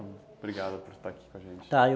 Obrigado por estar aqui com a gente. Tá, eu